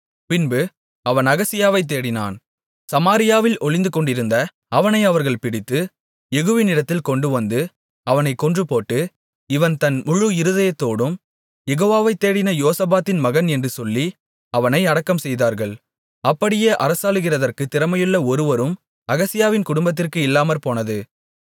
பின்பு அவன் அகசியாவைத் தேடினான் சமாரியாவில் ஒளிந்துகொண்டிருந்த அவனை அவர்கள் பிடித்து யெகூவினிடத்தில் கொண்டுவந்து அவனைக் கொன்றுபோட்டு இவன் தன் முழு இருதயத்தோடும் யெகோவாவை தேடின யோசபாத்தின் மகன் என்று சொல்லி அவனை அடக்கம்செய்தார்கள் அப்படியே அரசாளுகிறதற்குத் திறமையுள்ள ஒருவரும் அகசியாவின் குடும்பத்திற்கு இல்லாமற்போனது